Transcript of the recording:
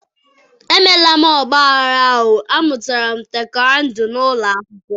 emela m ọgbaghara o, amụtara m taikwọndo n'ụlọ akwụkwọ